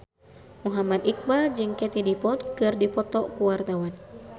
Muhammad Iqbal jeung Katie Dippold keur dipoto ku wartawan